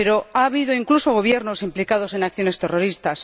Ha habido incluso gobiernos implicados en acciones terroristas.